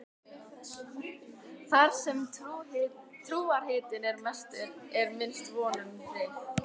Þar sem trúarhitinn er mestur er minnst von um frið.